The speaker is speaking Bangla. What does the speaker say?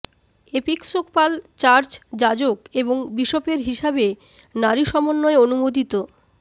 এপিস্কোপাল চার্চ যাজক এবং বিশপের হিসাবে নারী সমন্বয় অনুমোদিত